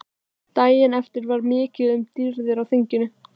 Daginn eftir var mikið um dýrðir á þinginu.